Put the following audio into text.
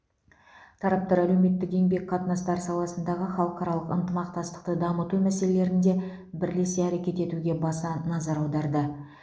тараптар әлеуметтік еңбек қатынастары саласындағы халықаралық ынтымақтастықты дамыту мәселелерінде бірлесе әрекет етуге баса назар аударды